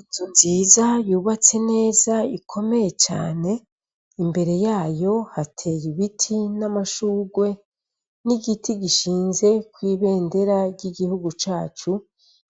Inzu nziza, yubatse neza ikomeye cane, imbere yayo hateye ibiti n' amashurwe, n' igiti gishinze nk' ibendera ry' iryihugu cacu,